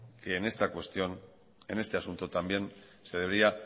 que en esta cuestión en este asunto también se debería